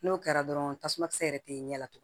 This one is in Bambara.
N'o kɛra dɔrɔn tasuma kisɛ yɛrɛ tɛ ɲɛ tugun